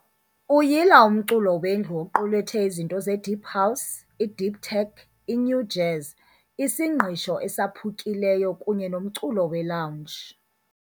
Uyila umculo wendlu oqulethe izinto ze-deep house, i-deep tech, i-Nu Jazz, isingqisho esaphukileyo kunye nomculo weLounge